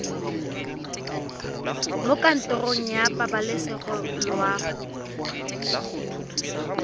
mo kantorong ya pabalesego loago